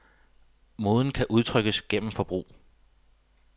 Moden kan udtrykkes gennem forbrug.